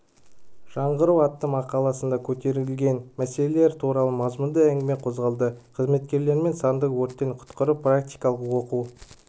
жаңғыру атты мақаласында көтерілген мәселелер туралы мазмұнды әңгіме қозғады қызметкерлерімен санды өрттен құтқару практикалық оқу